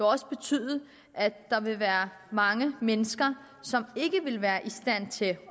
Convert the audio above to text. også betyde at der vil være mange mennesker som ikke vil være i stand til